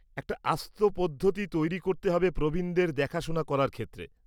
একটা আস্ত পদ্ধতি তৈরি করতে হবে প্রবীণদের দেখাশোনা করার ক্ষেত্রে।